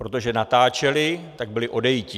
Protože natáčeli, tak byli odejiti.